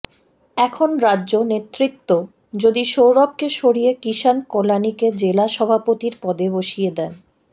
এখন রাজ্য নেতৃত্ব যদি সৌরভকে সরিয়ে কিষান কল্যাণীকে জেলা সভাপতির পদে বসিয়ে দেন